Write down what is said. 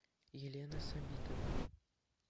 елена сабитова